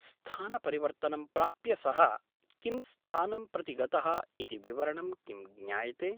स्थानपरिवर्तनं प्राप्य सः किं स्थानं प्रति गतः इति विवरणं किं ज्ञायते ?